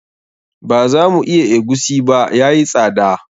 Ba za mu iya egusi ba, yayi tsada.